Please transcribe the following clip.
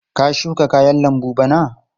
Ka shuka kayan lambu bana?